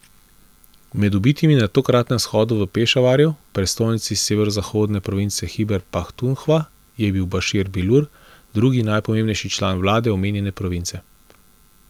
Med ubitimi na tokratnem shodu v Pešavarju, prestolnici severozahodne province Hiber Pahtunhva, je bil Bašir Bilur, drugi najpomembnejši član vlade omenjene province.